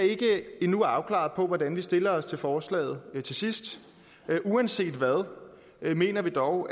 endnu ikke afklaret om hvordan vi stiller os til forslaget til sidst men uanset hvad mener vi dog